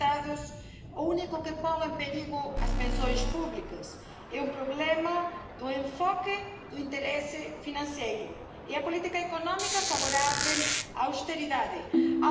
Si la baisse de notre déficit public est indispensable pour réduire notre dépendance aux marchés financiers, pour autant, tout cela ne doit pas se faire au détriment des retraités.